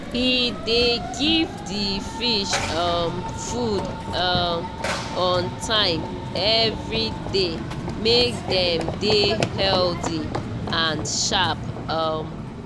he dey give the fish um food um on time every day make dem dey healthy and sharp um